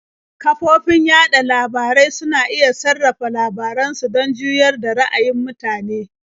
Kafofin yaɗa labarai suna iya sarrafa labaran su don juyar da ra'ayin mutane.